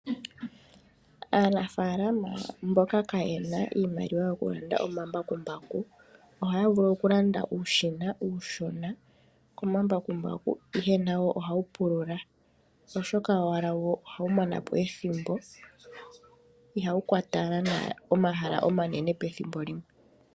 Aanafaalama mboka kaaye na iimaliwa yokulanda omambakumbaku ohaya vulu okulanda uushina uushona komambakumbaku, ihe nawo ohawu pulula, oshoka owala wo ohawu mana po ethimbo. Ihawu kwata ehala enene pethimbo limwe.